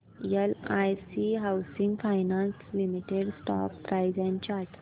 LIC housing finance limited stock price and chart